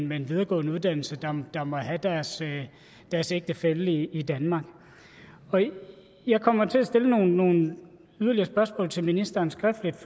med en videregående uddannelse der må have deres deres ægtefælle i danmark jeg kommer til at stille nogle yderligere spørgsmål til ministeren skriftligt